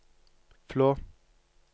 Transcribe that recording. Flå